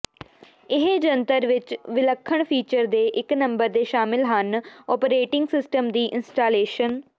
ਇਹ ਜੰਤਰ ਵਿੱਚ ਵਿਲੱਖਣ ਫੀਚਰ ਦੇ ਇੱਕ ਨੰਬਰ ਦੇ ਸ਼ਾਮਿਲ ਹਨ ਓਪਰੇਟਿੰਗ ਸਿਸਟਮ ਦੀ ਇੰਸਟਾਲੇਸ਼ਨ